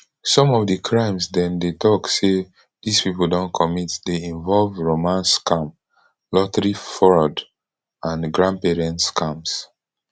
some of di crimes dem dem tok say dis pipo don commit dey involve romance scam lottery fraud and grandparent scams